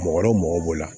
Mɔgɔ dɔ mɔgɔ b'o la